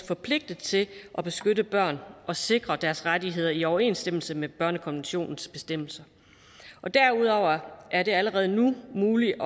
forpligtet til at beskytte børn og sikre deres rettigheder i overensstemmelse med børnekonventionens bestemmelser derudover er det allerede nu muligt